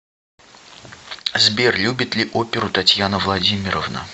сбер любит ли оперу татьяна владимировна